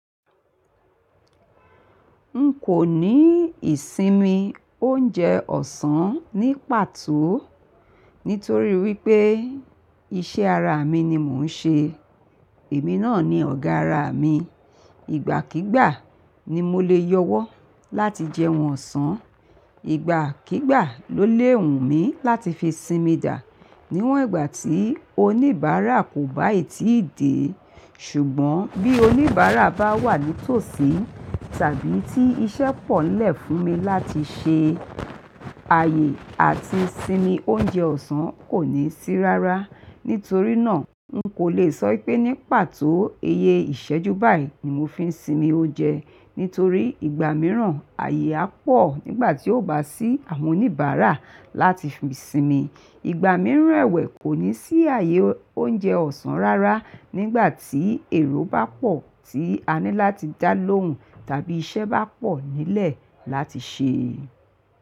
N kò ní ìsinmi oúnjẹ ọ̀sán ní pàtó, nítorí wípé iṣẹ́ ara mi ni mò ń ṣe. Èmi náà ni ọ̀gá ara mi. Ìgbà kígbà ni mo le yọwọ́ láti jẹun ọ̀sán, ìgbà kígbà ló lé wùn mi láti fi sinmi dà. Niwọn ìgbà tí oníbàárà kò bá í tíi dé, ṣùgbọ́n bí oníbàárà bá wà ní tòsí tàbí tí iṣẹ́ pọ̀ nlẹ̀ fún mi láti ṣe, àyè àti sími oúnjẹ ọ̀sán kò ní sí rárá. Nítorí náà, n kò le sọ pé ní pàtó iye ìṣẹ́jú báyìí ni mo fi ń sinmi oúnjẹ. Nítorí ìgbà mìíràn àyè á pọ̀ nígbà tí ó bá sí àwọn oníbàárà láti fi sinmi. Ìgbà mìíràn ẹ̀wẹ̀ kò ní sí àyè oúnjẹ ọ̀sán rárá nígbà tí èrò bá pọ̀ tí a ní láti dá lóhùn tàbí iṣẹ́ bá pọ̀ nílẹ̀ láti ṣe.